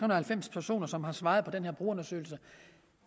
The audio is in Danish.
og halvfems personer som har svaret på den her brugerundersøgelse